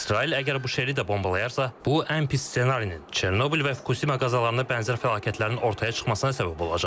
İsrail əgər Buşeri də bombalayarsa, bu ən pis ssenarinin, Çernobıl və Fukuşima qəzalarına bənzər fəlakətlərin ortaya çıxmasına səbəb olacaq.